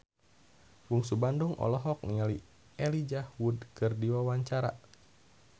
Bungsu Bandung olohok ningali Elijah Wood keur diwawancara